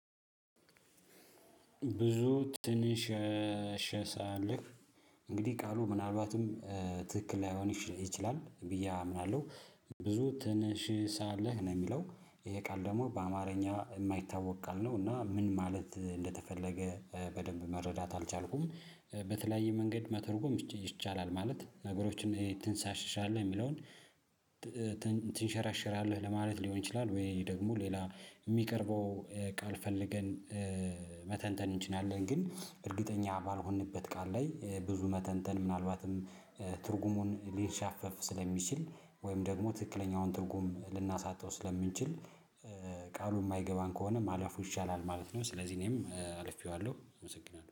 ብዙ ትንሽ ሸሳልፍ እንግዲህ ቃሉ ምናልባትም ትክክል ላይሆን ይችላል ብዬ አምናለሁ። ብዙ ትንሽ ሳለህ ነው የሚለው ይሄ ቃል ደግሞ በአማርኛ የማይታወቅ ቃል ነው እና ምን ማለት እንደተፈለገ በደንብ መረዳት አልቻልኩም። በተለያየ መንገድ መተርጎም ይቻላል ማለት ነገሮችን ትንሻሽሻለህ የሚለውን ትንሸራሸራለህ ለማለት ሊሆን ይችላል? ወይ ደግሞ ሌላ የሚቀርበው ቃል ፈልገን መተንተን እንችላለን ግን እርግጠኛ ባልሆንበት ቃል ላይ ብዙ መተንተን ምናልባትም ትርጉሙን ሊንሻፈፍ ስለሚችል ወይም ደግሞ ትክክለኛውን ትርጉም ልናሳጣው ስለምንችል። ቃሉ የማይገባን ከሆነ ማለፉ ይሻላል ማለት ነው። ስለዚህ እኔም አልፌዋለሁ አመሰግናለሁ